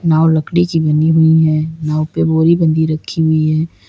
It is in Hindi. नाव लकड़ी की बनी हुई है नाव पे बोरी बंधी रखी हुई है।